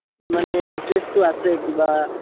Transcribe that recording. মানে interest ও আছে কিবা